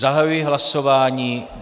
Zahajuji hlasování.